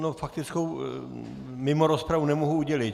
No faktickou mimo rozpravu nemohu udělit.